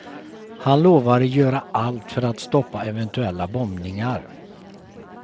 Han lovade göra allt för att stoppa eventuella bombningar.